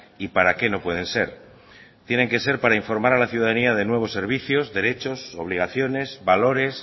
y para qué no pueden ser tienen que ser para informar a la ciudadanía de nuevos servicios derechos obligaciones valores